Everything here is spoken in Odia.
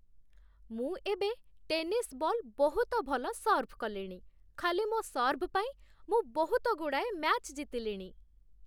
ମୁଁ ଏବେ ଟେନିସ୍ ବଲ୍ ବହୁତ ଭଲ ସର୍ଭ କଲିଣି । ଖାଲି ମୋ ସର୍ଭ ପାଇଁ, ମୁଁ ବହୁତଗୁଡ଼ାଏ ମ୍ୟାଚ୍ ଜିତିଲିଣି ।